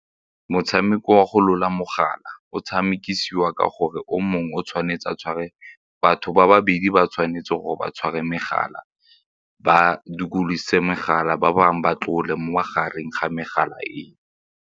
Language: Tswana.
Motshameko wa go tlola mogala o tshamekisiwa ka gore o mongwe o tshwanetse a tshware batho ba babedi ba tshwanetse gore ba tshware megala ba dikolose megala, ba bangwe ba tlogele mo magareng ga megala eo.